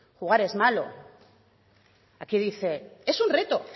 jugar es malo aquí dice es un reto